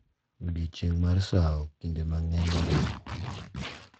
Odiechieng’ mar sawo kinde mang’eny oriwo